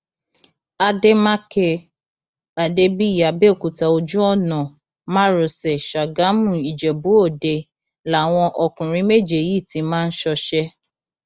àdèmàkè adébíyí àbẹòkúta ojú ọnà márosẹ ṣàgámùìjẹbúọdẹ làwọn ọkùnrin méje yìí ti máa ń ṣọṣẹ